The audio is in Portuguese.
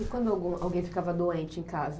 E quando algum alguém ficava doente em casa?